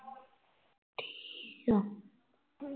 ਠੀਕ ਆ